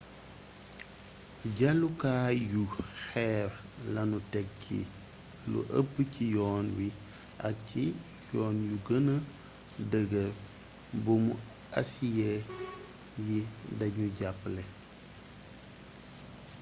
jàllukaay yu xeer lanu teg ci lu ëpp ci yoon wi ak ci yoon yu gëna dëggër buumu asiye yi danuy jàppale